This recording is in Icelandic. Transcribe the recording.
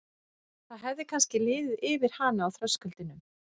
Það hefði kannski liðið yfir hana á þröskuldinum.